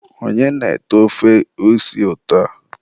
onye na-ete ofe isi ụtọ a?